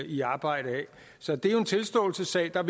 i arbejde af så det er jo en tilståelsessag der